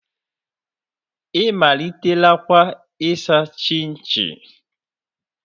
Ị malitelakwa ịsa chinchi?